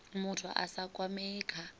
muthu a sa kwamei kha